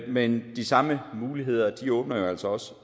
men de samme muligheder åbner altså også